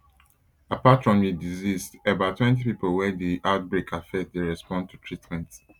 apart from di deceased about twenty pipo wey di outbreak affect dey respond to treatment